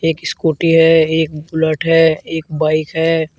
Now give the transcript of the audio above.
एक स्कूटी है एक बुलेट है एक बाइक है।